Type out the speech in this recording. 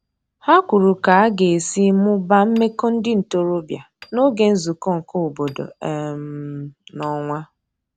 Ha kwuru ka aga esi mụbaa meko ndi ntorobia n'oge nzuko nke obodo um n'onwa